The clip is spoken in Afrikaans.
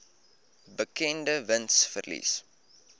berekende wins verlies